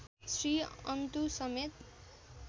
श्री अन्तु समेत